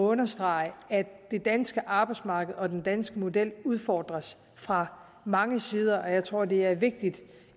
understrege at det danske arbejdsmarked og den danske model udfordres fra mange sider og jeg tror det er vigtigt